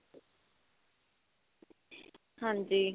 ਹਾਂਜੀ.